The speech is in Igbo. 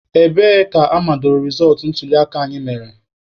Ebee ka amadoro rezọtụ ntuliaka anyị mere?